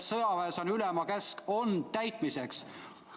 Sõjaväes on ülema käsk ju täitmiseks.